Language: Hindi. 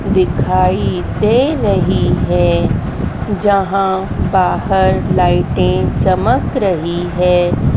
दिखाई दे रही है जहाँ बाहर लाइटें चमक रही है।